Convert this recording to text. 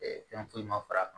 fɛn foyi ma far'a kan